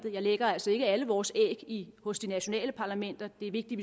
jeg lægger altså ikke alle vores æg hos de nationale parlamenter det er vigtigt